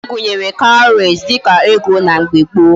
Agunyere cowries dika ego na mgbe gboo